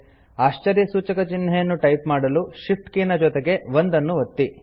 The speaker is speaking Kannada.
ಆಶ್ಚರ್ಯಸೂಚಕ ಚಿಹ್ನೆಯನ್ನು ಟೈಪ್ ಮಾಡಲು Shift ಕೀ ನ ಜೊತೆಗೆ 1 ನ್ನು ಒತ್ತಿ